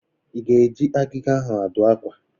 Ị ga-eji agịga a adụ akwa?